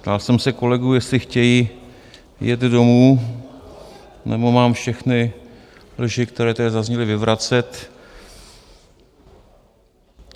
Ptal jsem se kolegů, jestli chtějí jet domů nebo mám všechny lži, které tady zazněly, vyvracet.